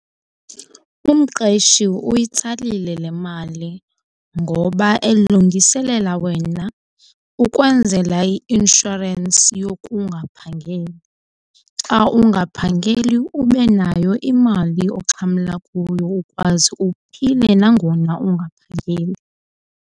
Umqeshi uyitsalile le mali ngoba elungiselela wena ukwenzela i-inshorensi yokungaphangeli. Xa ungaphangeli ube nayo imali oxhamla kuyo ukwazi uphile nangona ungaphangeli.